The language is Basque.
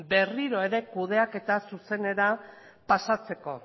berriro ere kudeaketa zuzenera pasatzeko